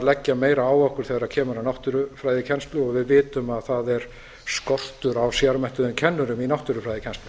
leggja meira á okkur þegar kemur að náttúrufræðikennslu og við vitum að það er skortur á sérmenntuðum kennurum í náttúrufræðikennslu